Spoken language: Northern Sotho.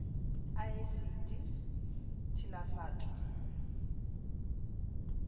a esiti t hilafat o